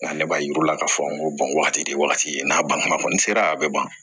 Nka ale b'a yir'u la k'a fɔ ko wagati de ye wagati ye n'a banna kɔni sera a bɛ ban